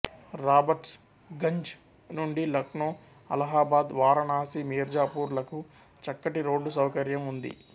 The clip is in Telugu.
రాబర్ట్స్ గంజ్ నుండి లక్నో అలహాబాద్ వారణాసి మీర్జాపూర్ లకు చక్కటి రోడ్డు సౌకర్యం ఉంది